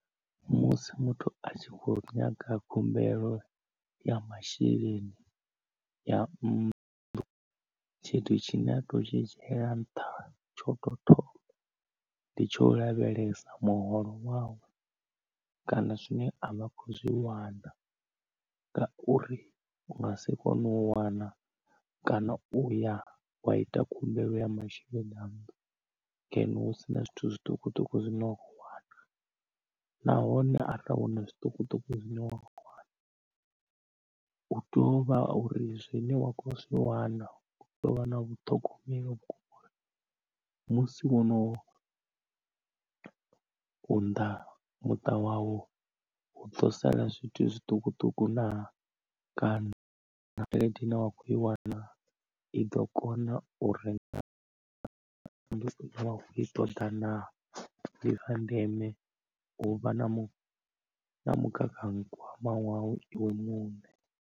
Musi muthu a tshi kho nyaga khumbelo ya masheleni ya nnḓu tshithu tshine a to tshi dzhiela nṱha tsho to thoma ndi tsho lavhelesa muholo wawe kana zwine a vha khou zwi wana ngauri u nga si kone u wana kana uya wa ita khumbelo ya masheleni a nnḓu ngeno hu sina zwithu zwiṱukuṱuku zwine wa kho wana. Nahone arali hu na zwiṱukuṱuku zwine wa wana u tovha uri zwine wa kho zwi wana u tovha na vhuṱhogomeli ngauri musi wo no unḓa muṱa wau u ḓo sala zwithu zwiṱukuṱuku naa kana kana tshelede ine wa kho i wana i ḓo kona u renga nnḓu ine wa kho i ṱoḓa na, ndi zwa ndeme u vha na mugaganyagwama wau iwe muṋe.